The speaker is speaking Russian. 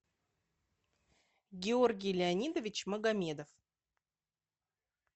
георгий леонидович магомедов